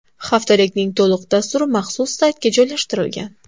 Haftalikning to‘liq dasturi maxsus saytga joylashtirilgan.